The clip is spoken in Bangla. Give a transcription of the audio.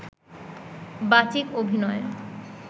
বাচিক অভিনয়